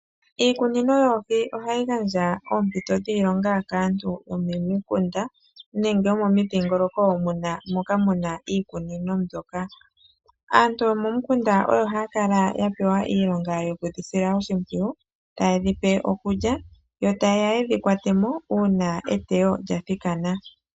Iikunino yoohi ohayi gandja oompito dhiilonga kaantu yomomikunda nenge yomomidhingoloko moka muna iikunino mbyoka. Aantu yomomikunda oyo haya kala yapewa oshinakugwanithwa sho kudhisila oshimpwiyu, tayedhi pe iikulya yo tayeya yedhi kwatemo uuna eteyo lyathikana.